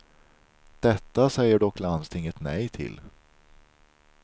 Detta säger dock landstinget nej till.